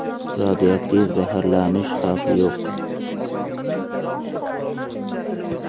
Radioaktiv zaharlanish xavfi yo‘q.